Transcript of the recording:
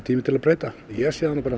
tími til að breyta ég sé það